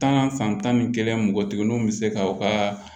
Tan san tan ni kelen mɔgɔ kelen nunu bi se ka u ka